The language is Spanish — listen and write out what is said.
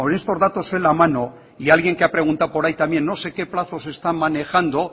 estos datos en la mano y alguien que ha preguntado por ahí también no sé qué plazos están manejando